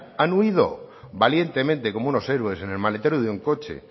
han huido valientemente como unos héroes en el maletero de un coche